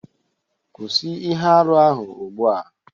Kwụsị ihe arụ ahụ ugbu a